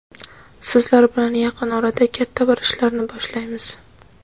sizlar bilan yaqin orada katta bir ishlarni boshlaymiz.